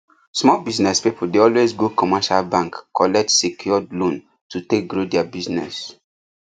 small business people dey always go commercial bank collect secured loan to take grow their business